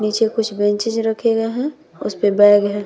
नीचे कुछ बेंचेस रखे गए है उस पर बैग है।